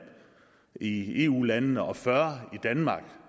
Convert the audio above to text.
i eu landene og fyrre i danmark